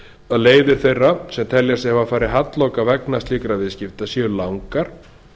að leiðir þeirra sem telja sig hafa farið halloka vegna slíkra viðskipta séu langar